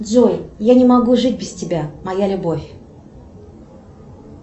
джой я не могу жить без тебя моя любовь